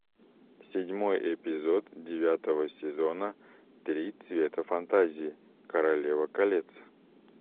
седьмой эпизод девятого сезона три цвета фантазии королева колец